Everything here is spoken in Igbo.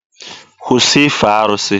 Kwụsị ife arụsị!